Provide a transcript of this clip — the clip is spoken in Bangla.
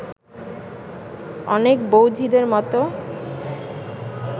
অনেক বউ-ঝিদের মতো